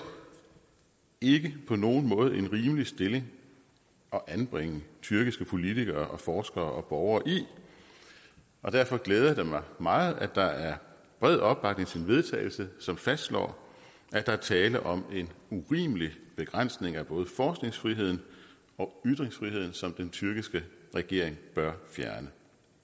ikke på nogen måde en rimelig stilling at anbringe tyrkiske politikere og forskere og borgere i og derfor glæder det mig meget at der er bred opbakning til vedtagelse som fastslår at der er tale om en urimelig begrænsning af både forskningsfriheden og ytringsfriheden som den tyrkiske regering bør fjerne